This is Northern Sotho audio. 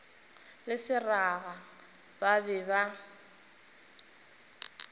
le seraga ba be ba